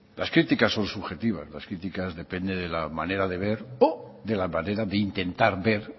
las críticas son subjetivas la criticas depende la manera de ver o de la manera de intentar ver